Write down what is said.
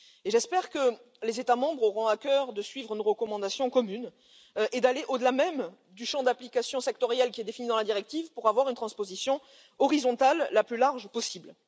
J'espère que les États membres auront à cœur de suivre une recommandation commune et d'aller au delà même du champ d'application sectoriel défini dans la directive pour assurer une transposition horizontale la plus large possible.